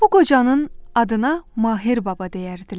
Bu qocanın adına Mahir Baba deyərdilər.